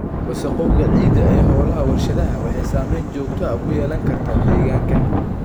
Wasakhowga ciidda ee hawlaha warshadaha waxay saameyn joogto ah ku yeelan kartaa deegaanka.